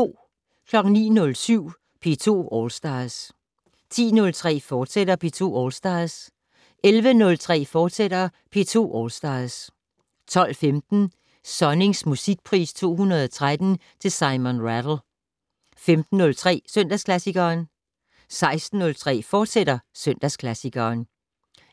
09:07: P2 All Stars 10:03: P2 All Stars, fortsat 11:03: P2 All Stars, fortsat 12:15: Sonnings Musikpris 2013 til Simon Rattle 15:03: Søndagsklassikeren 16:03: Søndagsklassikeren,